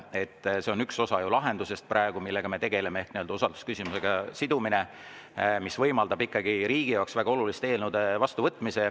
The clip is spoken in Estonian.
See aga on üks osa lahendusest praegu, millega me tegeleme, ehk siis usaldusküsimusega sidumine, mis võimaldab ikkagi riigi jaoks väga olulised eelnõud vastu võtta.